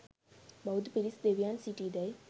බෞද්ධ පිරිස් දෙවියන් සිටීදැයි